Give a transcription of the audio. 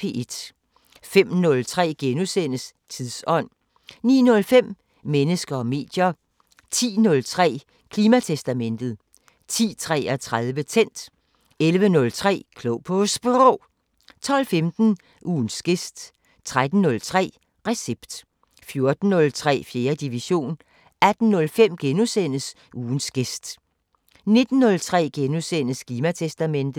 05:03: Tidsånd * 09:05: Mennesker og medier 10:03: Klimatestamentet 10:33: Tændt 11:03: Klog på Sprog 12:15: Ugens gæst 13:03: Recept 14:03: 4. division 18:05: Ugens gæst * 19:03: Klimatestamentet *